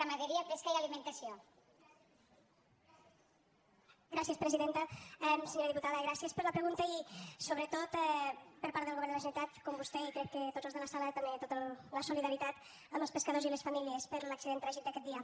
senyora diputada gràcies per la pregunta i sobretot per part del govern de la generalitat com vostè i crec que tots els de la sala també tota la solidaritat amb els pescadors i les famílies per l’accident tràgic d’aquest dia